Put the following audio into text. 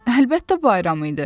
Əlbəttə bayram idi.